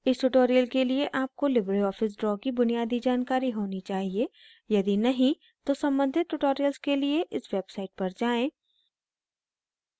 इस tutorial के लिए आपको लिबरे ऑफिस draw की बुनियादी जानकारी होनी चाहिए यदि नहीं तो सम्बंधित tutorials के लिए इस website पर जाएँ